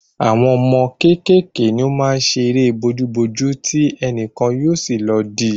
Àwọn ọmọ kékèké ni o maá n ṣe eré bojú bojú ti ẹnìkan yóò sì lọ di